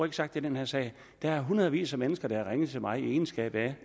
er sagt i den her sag der er hundredvis af mennesker der har ringet til mig i min egenskab af